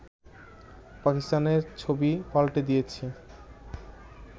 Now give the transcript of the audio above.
পাকিস্তানের ছবিও পাল্টে দিয়েছে